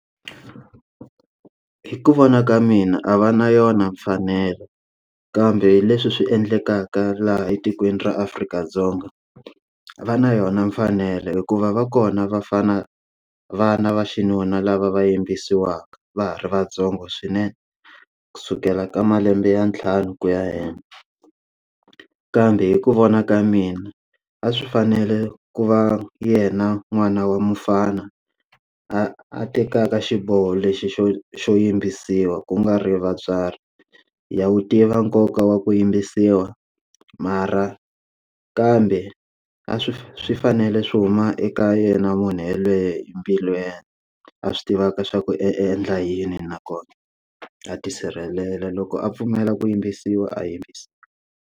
Hi ku vona ka mina a va na yona mfanelo kambe leswi swi endlekaka laha etikweni ra Afrika-Dzonga va na yona mfanelo hikuva va kona vafana vana va xinuna lava va yimbisiwa va ha ri vatsongo swinene kusukela ka malembe ya ntlhanu ku ya henhla kambe hi ku vona ka mina a swi fanele ku va yena n'wana wa mfana a a tekaka xiboho lexi xo xo yimbisiwa ku nga ri vatswari ya wu tiva nkoka wa ku yimbisiwa mara kambe a swi swi fanele swi huma eka yena munhu yelweyo hi mbilu ya yena a swi tivaka swa ku endla yini nakona a tisirhelela loko a pfumela ku yimbisiwa a yimbisiwa.